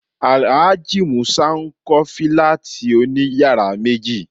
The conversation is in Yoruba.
Alhaji musa ń kọ Fílátì òní yàrá méji